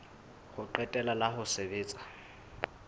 ho qetela la ho sebetsa